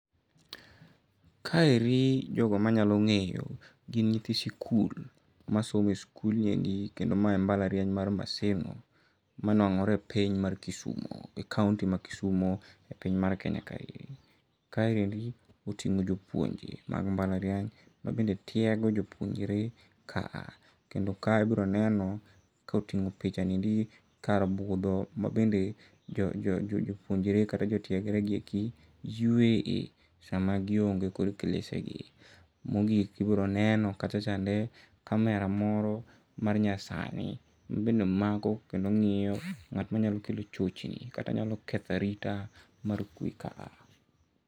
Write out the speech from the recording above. Kaeri jogo manyalo ng'eyo gin nyithi sikul masomo e skul niendi kendo mae en mbala riany mar Maseno ma nwang'ore e piny mar Kisumu e county mar Kisumu e piny mar Kenya kae. Kaendi oting'o jopuonje mag mbala riany mabende tiego jopuonjre kaa. Kendo kae ibiro neno koting'o picha niendi kar budho mabende jopunjre kata jotiegre gieki yueye sama gionge kod klese gi. Mogik ibiro neno kachachande kamera moro mar nyasani mabende mako kendo ng'iyo ng'at manyalo kelo chochni kata nyalo ketho arita mar kwe kaa.